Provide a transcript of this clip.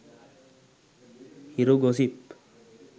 hiru gossip